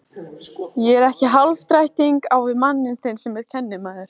Ég er ekki hálfdrættingur á við mann þinn sem kennimaður.